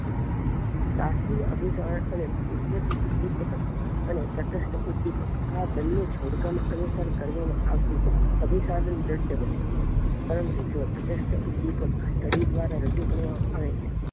આથી અભિસાય અને કુદરતની પકડ અને તટસ્થ ઉદ્દીપક આ બંને જોડકા માં અનિસાર કરવામાં આવતી અભીસાધન બને છે પરંતુ જો તટસ્થ ઉદ્દીપક દ્વારા રજુ કરવામાં આવે છે